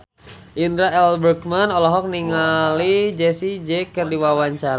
Indra L. Bruggman olohok ningali Jessie J keur diwawancara